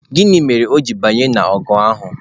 Gịnị mere o ji banye n'ọgụ ahụ?